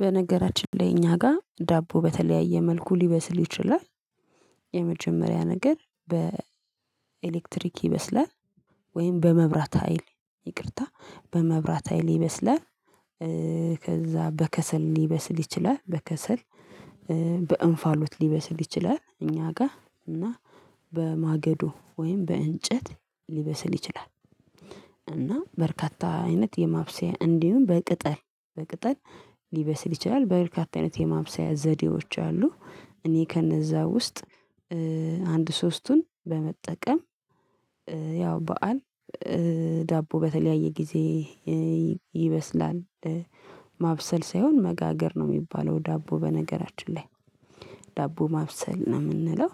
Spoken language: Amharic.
በነገራችን ላይ እኛ ጋር ዳቦ በተለያየ መልኩ ሊበስል ይችላል። የመጀመሪያ ነገር በኤሌክትሪክ ይበስላል ወይም በመብራት ሀይል ይቅርታ በመብራት ሀይል ይበስላል። ከዛ በከሰል ሊበስል ይችላል በከሰል። በእንፋሎት ሊበስል ይችላል እኛ ጋር እና በማገዶ ወይም በእንጨት ሊበስል ይችላል። እና በርካታ አይነት የማብሰያ እንዲሁም በቅጠል በቅጠል ሊበስል ይችላል። በርካታ አይነት የማብሰያ ዘዴዎች አሉ። እኔ ከነዛ ውስጥ አንድ ሶስቱን በመጠቀም ያው በዓል ዳቦ በተለያየ ጊዜ ኧ ይበስላል። ማብሰል ሳይሆን መጋገር ነው የሚባለው ዳቦ በነገራችን ላይ ዳቦ ማብሰል ነው የምንለው።